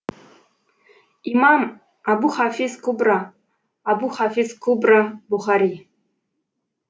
имам абухафиз кубра абухафиз кубра бұхари